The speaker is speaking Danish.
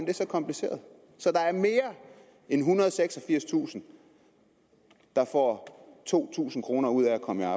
det så kompliceret så der er mere end ethundrede og seksogfirstusind der får to tusind kroner ud af at komme